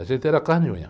A gente era carne e unha.